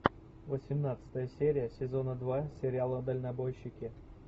восемнадцатая серия сезона два сериала дальнобойщики